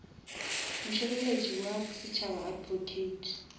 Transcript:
mošireletši wa setšhaba advocate